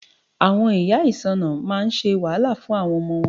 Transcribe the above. Àwọn ìyá ìsáǹsá máa ń ṣe wàhálà fún àwọn ọmọ wọn.